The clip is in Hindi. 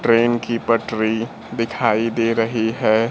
ट्रेन की पटरी दिखाई दे रही है।